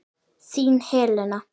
Þín, Helena.